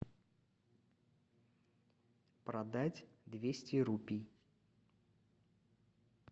продать двести рупий